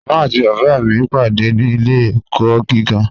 Mama àti baba mi pàdé ní ilẹ̀-ẹ̀kọ̀ gígà.